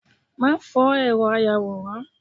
ma fó eró ayawóran